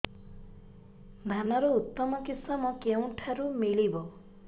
ଧାନର ଉତ୍ତମ କିଶମ କେଉଁଠାରୁ ମିଳିବ